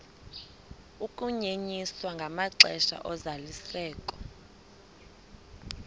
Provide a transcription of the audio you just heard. ukunyenyiswa kwamaxesha ozalisekiso